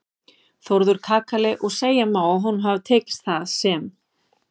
Þórður kakali og segja má að honum hafi tekist það sem